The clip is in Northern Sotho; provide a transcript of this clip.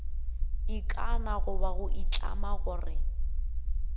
ikana goba go itlama gore